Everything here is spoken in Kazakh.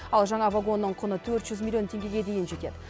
ал жаңа вагонның құны төрт жүз миллион теңгеге дейін жетеді